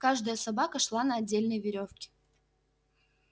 каждая собака шла на отдельной верёвке